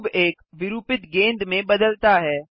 cube एक विरुपित गेंद में बदलता है